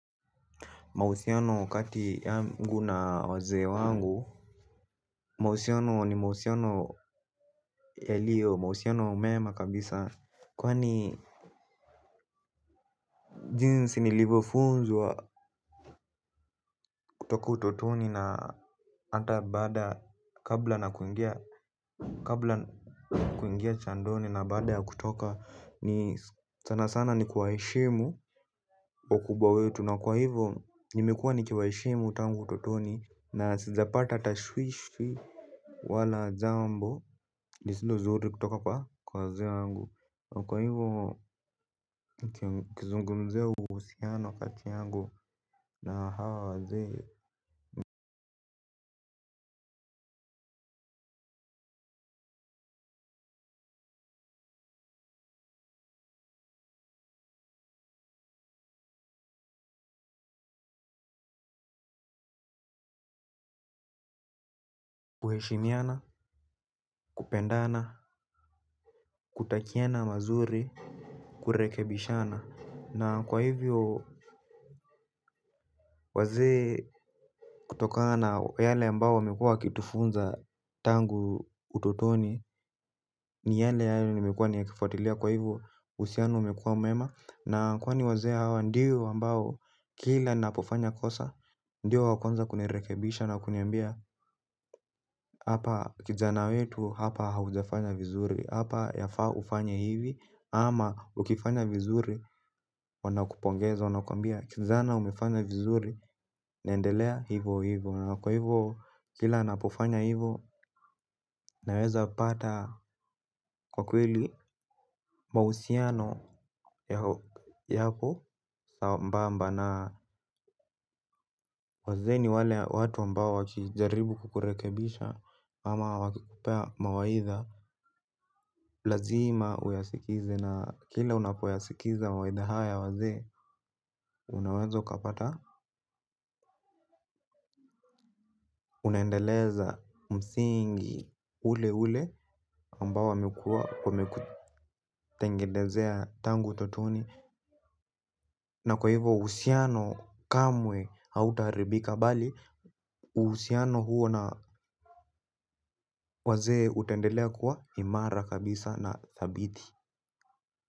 Mausiano wakati yangu na wazee wangu Mahusiano ni mahusiano yaliyo mahusiano mema kabisa kwani. Jinsi nilivyofunzwa kutoka utotoni na hata baada, kabla ya kuingia jandoni na baada ya kutoka, ni sana sana ni kuwaheshimu. Wakubwa wetu, na kwa hivyo nimekuwa nikiwaheshimu tangu utotoni na sijapata tashwishi. Wala jambo lisilo zuri kutoka kwa wazee wangu. Na kwa hivyo kuzungumzia uhusiano kati yangu na hawa wazee kwa kuheshimiana, kupendana, kutakiana mazuri, kurekebishana, na kwa hivyo wazee kutokana yale ambayo wamekuwa wakitufunza tangu utotoni. Ni yale hayo nimekuwa nikiyafuatilia kwa hivyo uhusiano umekuwa mwema, na kwani wazee hawa ndiyo ambao kila ninapofanya kosa. Ndiyo wa kwanza kunirekebisha na kuniambia hapa kijana wetu, hapa haujafanya vizuri. Hapa yafaa ufanye hivi ama ukifanya vizuri wanakupongeza. Wanakuambia kijana umefanya vizuri. Nendelea hivyo hivyo. Kwa hivyo kila ninapofanya hivyo, ninaweza pata kwa kweli mahusiano yako sambamba. Na wazee ni wale watu ambao wakijaribu kukurekebisha ama wakikupea mawaidha lazima uyasikize. Na kila unapoyasikiza mawaidha haya ya wazee unaweza ukapata. Unaendeleza msingi ule ule ambao wamekuwa wamekutengenezea tangu utotoni. Na kwa hivo uhusiano kamwe hautaribika bali uhusiano huo na wazee utendelea kuwa imara kabisa na thabiti.